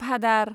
भादार